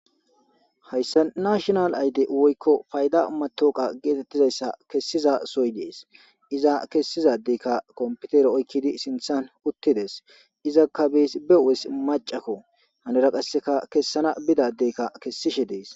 Hayssa nashinal ayide woykko fayda matwoqa geetettizayssa kessiza sohoy dees iza kessizadeykka kompitere oykkidi sinththan uttides izakka bees be u'es macakko hanira qasseka kessana bidaddeykka kessishe dees